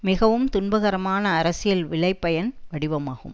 மிகவும் துன்பகரமான அரசியல் விளைபயன் வடிவமாகும்